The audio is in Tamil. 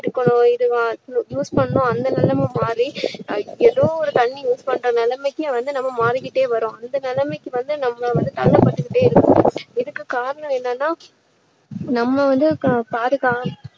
எடுக்கணும் இதுவா~ use பண்ணணும் அந்த நிலைமை மாறி. ஏதோ ஒரு தண்ணீர் use பண்ற நிலைமைக்கு வந்து நம்ம மாறிக்கிட்டே வர்றோம் அந்த நிலைமைக்கு வந்து நம்ம வந்து தள்ளப்பட்டுக்கிட்டே இருக்கோம் இதுக்கு காரணம் என்னன்னா நம்ம வந்து பாதுகா~